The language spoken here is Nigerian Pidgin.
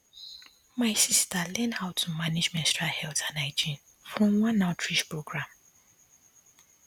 my sister learn how to manage menstrual health and hygiene from one outreach program